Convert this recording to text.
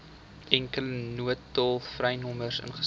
enkele noodtolvrynommer ingestel